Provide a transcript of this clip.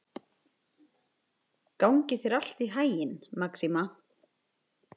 Gangi þér allt í haginn, Maxima.